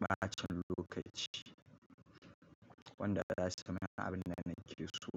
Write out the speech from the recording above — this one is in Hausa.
bacin lokaci wanda za su min abin da na ki so.